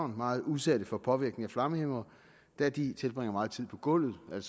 meget udsatte for påvirkninger fra flammehæmmere da de tilbringer meget tid på gulvet